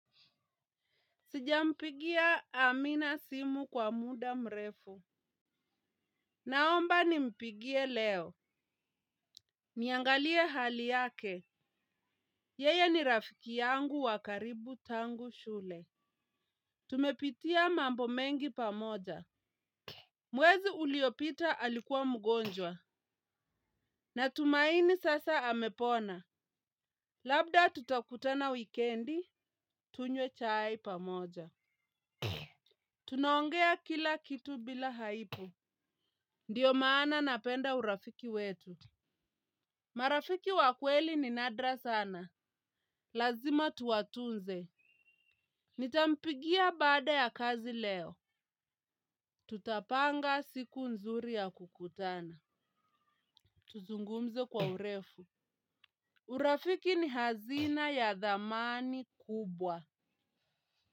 Sijampigia amina simu kwa muda mrefu. Naomba nimpigie leo. Niangalie hali yake. Yeya ni rafiki yangu wa karibu tangu shule. Tumepitia mambo mengi pamoja. Mwezi uliopita alikuwa mgonjwa. Natumaini sasa amepona. Labda tutakutana wikendi. Tunywe chai pamoja. Tunaongea kila kitu bila haibu. Ndiyo maana napenda urafiki wetu. Marafiki wa kweli ni nadra sana. Lazima tuwatunze. Nitampigia baada ya kazi leo. Tutapanga siku nzuri ya kukutana. Tuzungumze kwa urefu. Urafiki ni hazina ya dhamani kubwa.